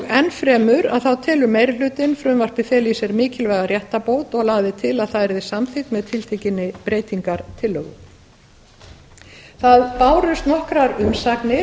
enn fremur telur meiri hlutinn frumvarpið fela í sér mikilvæga réttarbót og lagði til að það yrði samþykkt með tiltekinni breytingartillögu það bárust nokkrar umsagnir